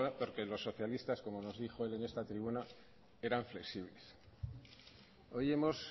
porque los socialistas como nos dijo él en esta tribuna eran flexibles hoy hemos